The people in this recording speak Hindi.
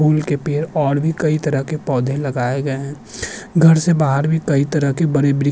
के पेड़ और भी कई तरह के पौधे लगाए गए हैं घर से बहार भी कई तरह के बड़े वृ --